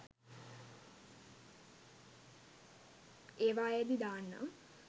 ඒවායේ දී දාන්නම්